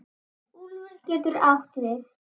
Úlfur getur átt við